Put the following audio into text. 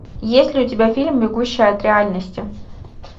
есть ли у тебя фильм бегущая от реальности